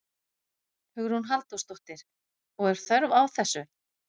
Hugrún Halldórsdóttir: Og er þörf á þessu?